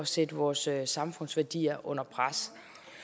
sætte vores samfundsværdier under pres